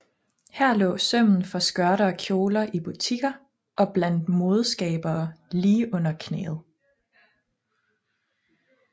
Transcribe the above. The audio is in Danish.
Her lå sømmen for skørter og kjoler i butikker og blandt modeskabere lige under knæet